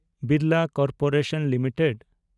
Birla corporation limited